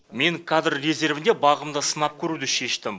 мен кадр резервінде бағымды сынап көруді шештім